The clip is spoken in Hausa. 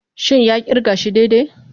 Shin ya kirga shi daidai?